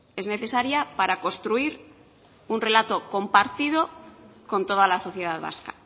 es necesaria para construir un relato compartido con toda la sociedad vasca